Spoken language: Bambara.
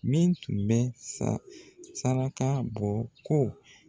Min tun bɛ sa saraka bɔ ko